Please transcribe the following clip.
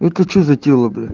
это что за тело бля